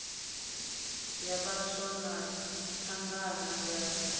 ya vhaswa na thangana ya